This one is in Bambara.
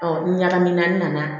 ni ɲagami naani nana